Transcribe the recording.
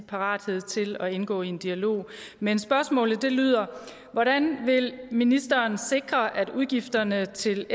parathed til at indgå i en dialog men spørgsmålet lyder hvordan vil ministeren sikre at udgifterne til